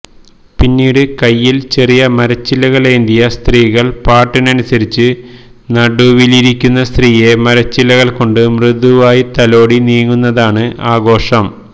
പിന്നീട് കൈയ്യില് ചെറിയ മരച്ചില്ലകള് ഏന്തിയ സ്ത്രീകള് പാട്ടിനുസരിച്ച് നടുവിലിരിക്കുന്ന സ്ത്രീയ മരച്ചില്ലകള് കൊണ്ട് മൃദുവായി തലോടി നീങ്ങുന്നതാണ് ആഘോഷം